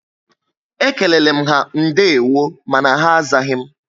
Ékéléle m ha ndewo mànà ha azaghi m